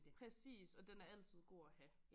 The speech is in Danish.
Præcis og den er altid god at have